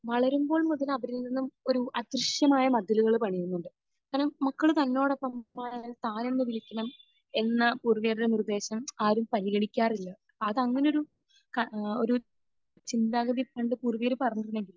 വളരുമ്പോൾ മുതൽ അവരിൽ നിന്നും ഒരു അദൃശ്യമായ മതിലുകൾ പണിയുന്നുണ്ട്. കാരണം മക്കൾ നമ്മളോടൊപ്പം വളർന്നാൽ താനെന്ന് വിളിക്കണം എന്ന പൊതുവെയുള്ള നിർദേശം ആരും പരിഗണിക്കാറില്ല. അതങ്ങനെയൊരു ക ഏഹ് ഒരു ചിന്താഗതി പണ്ട് പൂർവികർ പറഞ്ഞിരുന്നെങ്കിലും